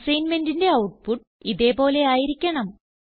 അസൈൻമെന്റിന്റെ output ഇതേ പോലെ ആയിരിക്കണം